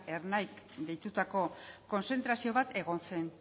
ernaik deitutako konzentrazio bat egon zen